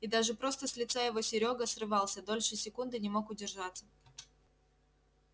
и даже просто с лица его серёга срывался дольше секунды не мог удержаться